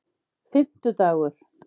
fimmtudagur